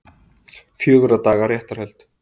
Fjögurra daga réttarhöld